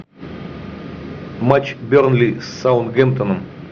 матч бернли с саутгемптоном